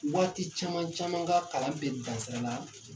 Waati caman caman ka kalan bɛ dan sira la